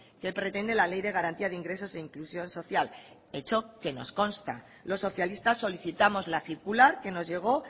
que pretende la ley de garantía de ingresos e inclusión social hecho que nos consta los socialistas solicitamos la circular que nos llegó